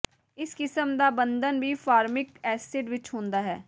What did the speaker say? ਇਸ ਕਿਸਮ ਦਾ ਬੰਧਨ ਵੀ ਫਾਰਮਿਕ ਐਸਿਡ ਵਿਚ ਹੁੰਦਾ ਹੈ